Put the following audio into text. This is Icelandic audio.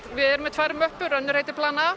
við erum með tvær möppur plan a